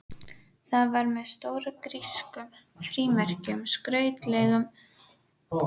Það var með stórum grískum frímerkjum, skrautlegum.